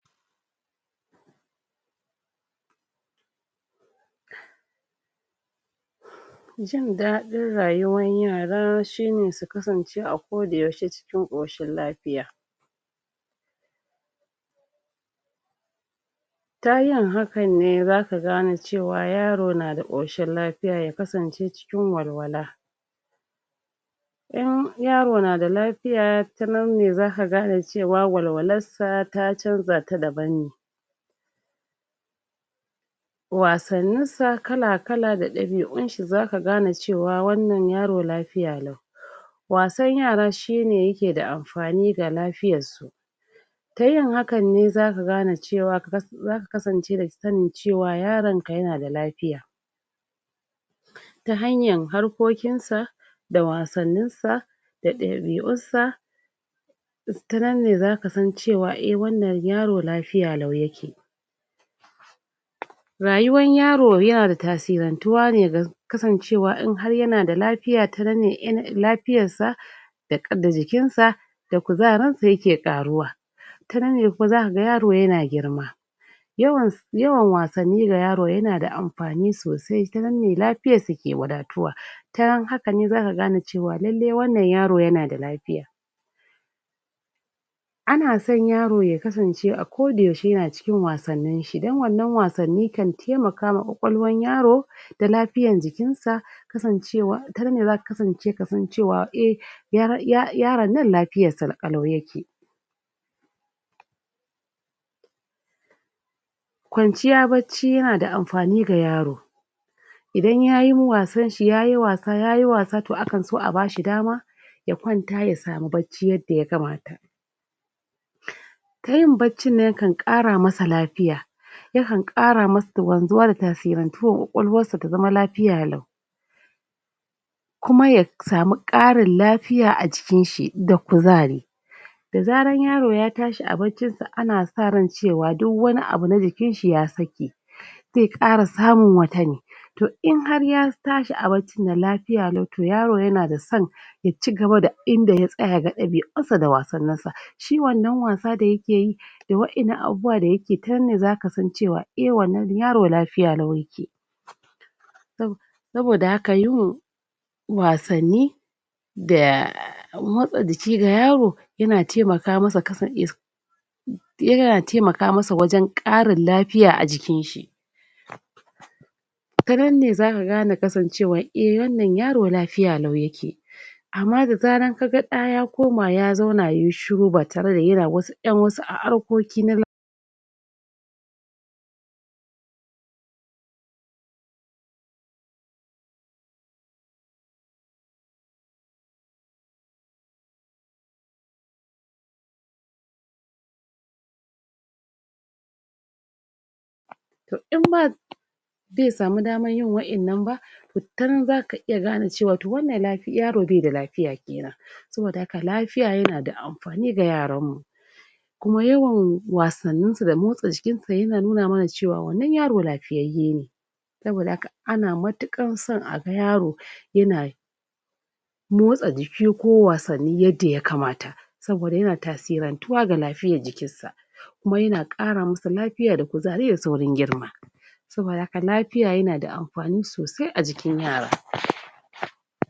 Jin daɗin rayuwan yara shine su kasance a kodayaushe cikin ƙoshin lafiya, ta yin hakanne zaka gane cewa yaro nada ƙoshin lafiya ya kasance cikin walwala, in yaro nada lafiya ta nanne zaka gane cewa walwalassa ta canza ta daban ne, wasanninsa kala-kala da ɗabi'unshi zaka gane cewa wannan yaro lafiya lau, wasan yara shine yake da amfani ga lafiyassu, tayin hakanne zaka gane cewa zaka kasance da sanin cewa yaranka yana da lafiya, ta hanyan harkokinsa, da wasanninsa, da ɗabi'ussa, ta nan ne zaka sa cewa eh wannan yaro lafiya lau yake. Rayuwan yaro yana da tasirantuwa ne ga kasancewa in har yana da lafiya tanan ne in lafiyassa da jikinsa da kuzarinsa yake ƙaruwa, tanan ne ko zaka ga yaro yana girma yawan yawan wasanni ga yaro yana da amfani sosai ta nan ne lafiyarsa ke wadatuwa ta haka ne zaka gane cewa lalle wannan yaro yana da lafiya, ana san yaro ya kasance a koda yaushe yana cikin wasanninshi dan wannan wasanni kan temakama ƙwaƙwalwan yaro da lafiyan jikinsa kasancewa tanan ne zaka kasance kasan cewa eh yar ya yaron nan lafiyarsa ƙalau yake. Kwanciya bacci yana da amfani ga yaro idan yayi wasanshi yayi wasa yayi wasa to akan so a bashi dama ya kwanta ya samu bacci yadda ya kamata, tayin baccin nan kan ƙara masa lafiya yakan ƙara masa wanzuwar tasinrantuwar ƙwaƙwalwassa ta zama lafiya lau, kuma ya samu ƙarin lafiya a jikinshi da kuzari da zaran yaro ya tashi a baccinsa ana sa ran cewa duwwani abu na jikinshi ya saki, ze ƙara samun wata ne to in har ya tashi a baccinnan lafiya lau to yaro yana da san ya cigaba da inda ya tsaya a ɗabi'unsa da wasanninsa, shi wannan wasa da yake yi da wa'innan abubuwa da yake ta nan ne zaka san cewa eh wannan yaro lafiya lau yake, saboda haka yawan wasanni da motsa jiki ga yaro yana temaka masa yana temaka masa wajen ƙarin lafiya a jikinshi, ta nan ne zaka gane kasancewa eh wannan yaro lafiya lau yake, amma da zaran kaga ɗa ya koma ya zauna yai shiru ba tare da yana wasu ƴan wasu harkoki na to imma di yasamu damayyin wa'innan ba to ta nan zaka iya gane cewa to wannan lafiya yaro beda lafiya ƙila, saboda haka lafiya yana da amfani ga yaranmmu, kuma yawan wasanninsa da motsa jikinsa yana nuna mana cewa wannan yaro lafiyayye ne, saboda haka ana matuƙan san a ga yaro yana motsa jiki ko wasanni yadda yakamata, saboda yana tasirantuwa ga lafiyaj jikissa, kuma yana ƙara masa lafiya da kuzari da saurin girma, saboda haka lafiya yana da amfani sosai a jikin yara.